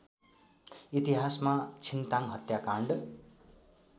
इतिहासमा छिन्ताङ हत्याकाण्ड